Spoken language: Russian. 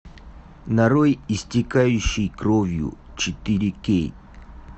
нарой истекающий кровью четыре кей